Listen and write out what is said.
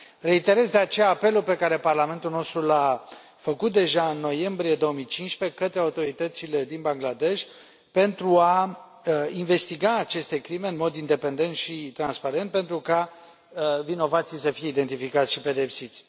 Reiterez, de aceea, apelul pe care Parlamentul nostru l a făcut deja în noiembrie 2015 către autoritățile din Bangladesh pentru a investiga aceste crime în mod independent și transparent, pentru ca vinovații să fie identificați și pedepsiți.